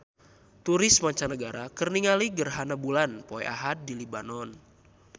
Turis mancanagara keur ningali gerhana bulan poe Ahad di Lebanon